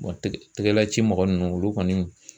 tɛgɛ laci mɔgɔ nunnu olu kɔni